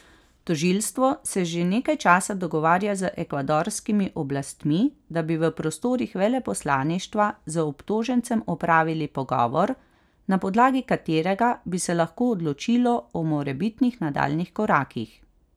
Tožilstvo se že nekaj časa dogovarja z ekvadorskimi oblastmi, da bi v prostorih veleposlaništva z obtožencem opravili pogovor, na podlagi katerega bi se lahko odločilo o morebitnih nadaljnjih korakih.